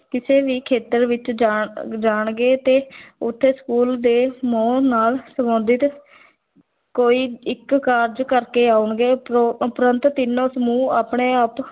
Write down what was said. ਕਿਸੇ ਵੀ ਖੇਤਰ ਵਿੱਚ ਜਾਣ ਜਾਣਗੇ ਤੇ ਉੱਥੇ school ਦੇ ਮੋਹ ਨਾਲ ਸੰਬੰਧਿਤ ਕੋਈ ਇੱਕ ਕਾਰਜ ਕਰਕੇ ਆਉਣਗੇ, ਉਪਰ ਉਪਰੰਤ ਤਿੰਨੋ ਸਮੂਹ ਆਪਣੇ ਆਪ